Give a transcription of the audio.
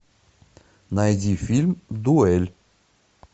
найди фильм дуэль